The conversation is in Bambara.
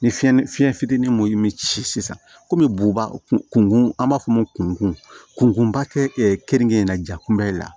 Ni fiɲɛ fitinin mun mi ci sisan komi buba kun an b'a fɔ o ma ko kunkunba tɛ ɛ keninke in na ja kunbɛli la